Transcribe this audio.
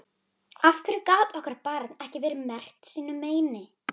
Af hverju gat okkar barn ekki verið merkt sínu meini?